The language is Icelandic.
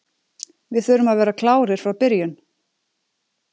Við þurfum að vera klárir frá byrjun.